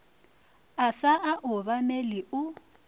a sa o obamele o